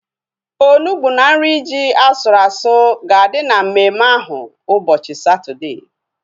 Onugbu na nri ji asụrụ asụ ga-adị na mmemme ahu ụbọchị Satọdee